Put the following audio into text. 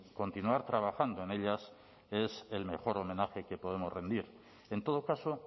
continuar trabajando en ellas es el mejor homenaje que podemos rendir en todo caso